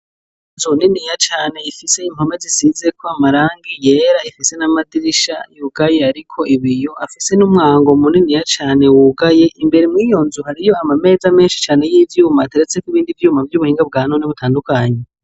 Inzu niniya cane ifise impome zisizeko amarangi yera ifise n'amadirisha yugaye ariko ibiyo afise n'umwango muniniya cane wugaye imbere mw'iyonzu hariyo amameza menshi cane y'ivyuma ateretseko ibindi vyuma vy'ubuhinga bwa none butandukanye.